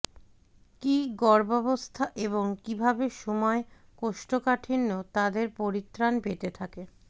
কি গর্ভাবস্থা এবং কিভাবে সময় কোষ্ঠকাঠিন্য তাদের পরিত্রাণ পেতে থেকে